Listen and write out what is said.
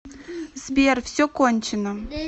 сбер все кончено